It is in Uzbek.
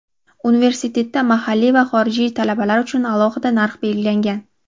universitetda mahalliy va xorijiy talabalar uchun alohida narx belgilangan.